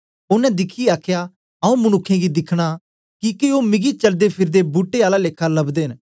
ओनें दिखियै आखया आऊँ मनुक्खें गी दिखना किके ओ मिगी चलदेफिरदे बूट्टे आला लेखा लबदे न